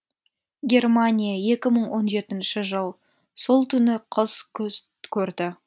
германия екі мың он жетінші жыл сол түні қыз күс көрді